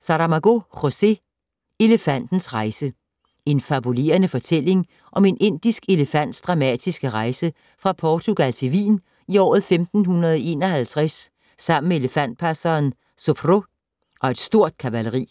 Saramago, José: Elefantens rejse En fabulerende fortælling om en indisk elefants dramatiske rejse fra Portugal til Wien i året 1551 sammen med elefantpasseren Subhro og et stort kavaleri.